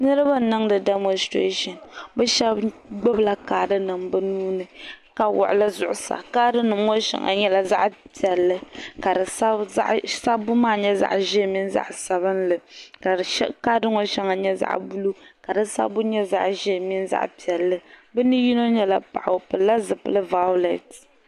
jɛnli puuni n boŋɔ ŋɔ ka saƒɔ nim dondoya sajara nim dondoya ka wulin kapɛtɛ ka aƒɔ ʒɛya ka chin wuhiri niriba bɛnshɛgu ka di bɛ bodɛ zuɣ' ka niriba kuli muɣimuɣ' bi maŋa ka so chichina ka di nyɛ zaɣ' pɛilla